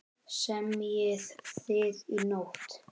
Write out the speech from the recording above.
Semjið þið í nótt?